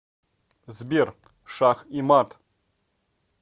сбер шах и мат